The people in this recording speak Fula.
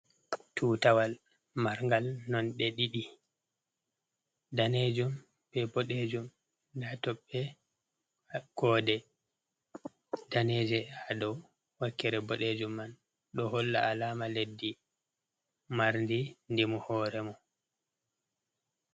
Tutawal marngal nonɗe ɗiɗi, daneejum be boɗejum. Nda toɓɓe koode daneeje ha dou wakkere boɗeejum man. Ɗo holla alama leddi marndi ndimu hoore mum.